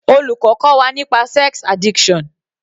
Olùkọ́ kọ́ wa nípa sex addiction